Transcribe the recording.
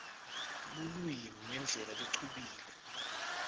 lulwimi ngendlela lecubile